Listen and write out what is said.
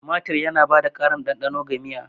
Tumatir yana ba da ƙarin ɗanɗano ga miya.